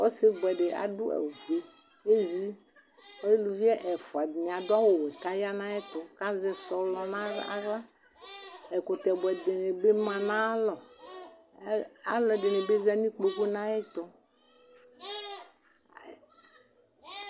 Ɔsibʋɛdi adʋ awʋfue kʋ ezi elʋvi ɛfʋa dini adʋ awʋwɛ kʋ aya nʋ ayʋ ɛtʋ kʋ azɛ sɔlɔ nʋ aɣla ɛkʋtɛ bʋɛ dini bi manʋ ayʋ alɔ alʋɛdini bi zanʋ ikpokʋ nʋ ayʋ ɛtʋ